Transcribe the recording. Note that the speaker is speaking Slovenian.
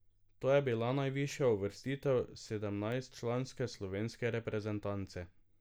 To je bila najvišja uvrstitev sedemnajstčlanske slovenske reprezentance.